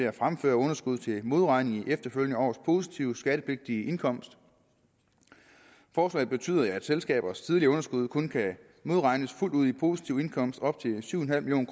at fremføre underskud til modregning i efterfølgende års positive skattepligtige indkomst forslaget betyder at selskabers tidligere underskud kun kan modregnes fuldt ud i positiv indkomst op til syv million